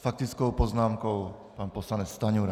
S faktickou poznámkou pan poslanec Stanjura.